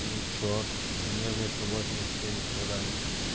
ну и чё у меня метр восемьдесят семь и что дальше